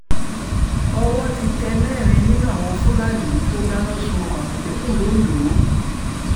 owó um ti tẹ mẹ́rin nínú àwọn fúlàní tó dáná um sun ọkọ̀ àmọ̀tẹ́kùn londo